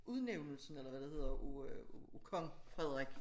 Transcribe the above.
Udnævnelsen eller hvad det hedder af øh af Kong Frederik